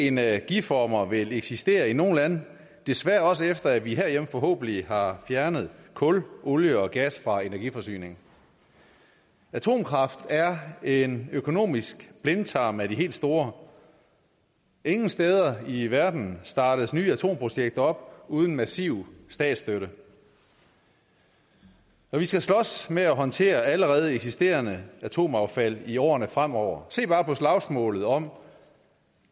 energiformer vil eksistere i nogle lande desværre også efter vi herhjemme forhåbentlig har fjernet kul olie og gas fra energiforsyningen atomkraft er en økonomisk blindtarm af de helt store ingen steder i verden startes nye atomprojekter op uden massiv statsstøtte og vi skal slås med at håndtere allerede eksisterende atomaffald i årene fremover se bare på slagsmålet om